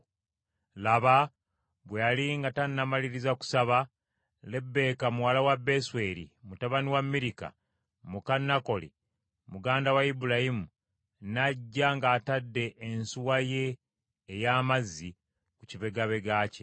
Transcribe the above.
Laba, bwe yali nga tannamaliriza kusaba, Lebbeeka muwala wa Besweri mutabani wa Mirika muka Nakoli, muganda wa Ibulayimu, n’ajja ng’atadde ensuwa ye ey’amazzi ku kibegabega kye.